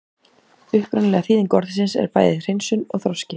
Upprunaleg þýðing orðsins er bæði hreinsun og þroski.